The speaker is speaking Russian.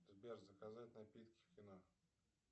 сбер заказать напитки в кино